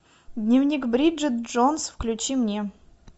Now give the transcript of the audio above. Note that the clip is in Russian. дневник бриджит джонс включи мне